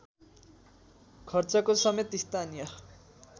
खर्चको समेत स्थानीय